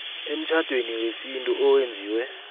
emtjhadweni wesintu owenziwe